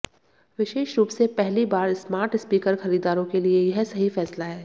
विशेष रूप से पहली बार स्मार्ट स्पीकर खरीदारों के लिए यह सही फैसला है